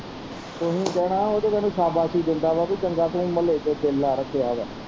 ਤੁਹੀਂ ਕਹਿਣਾ ਵਾ ਉਹ ਤੇ ਤੈਨੂੰ ਸਾਬਾਸ਼ੀ ਦਿੰਦਾ ਵਾ ਚੰਗਾ ਮਤਲਬ ਤੂੰ ਚੇਲਾ ਰੱਖਿਆ ਵਾ।